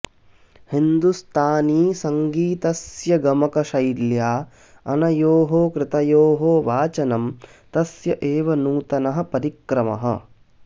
हिन्दुस्तानीसङ्गीतस्य गमकशैल्या अनयोः कृतयोः वाचनं तस्य एव नूतनः परिक्रमः